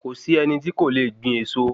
Kòsí ẹni tí kò le gbìn eso